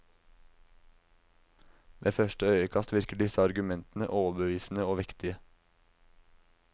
Ved første øyekast virker disse argumentene overbevisende og vektige.